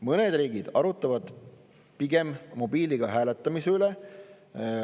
Mõned riigid arutavad pigem mobiiliga hääletamise üle.